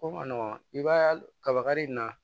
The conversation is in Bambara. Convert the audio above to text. Ko ma nɔgɔn i b'a kabakari in na